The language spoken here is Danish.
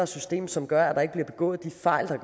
system som gør at der ikke bliver begået de fejl der